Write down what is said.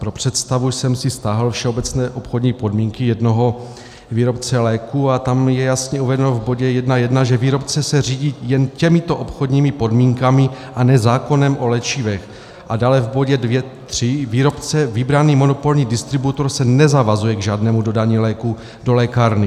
Pro představu jsem si stáhl všeobecné obchodní podmínky jednoho výrobce léků a tam je jasně uvedeno v bodě 1.1, že výrobce se řídí jen těmito obchodními podmínkami, a ne zákonem o léčivech, a dále v bodě 2.3 - výrobce vybraný monopolní distributor se nezavazuje k žádnému dodání léků do lékárny.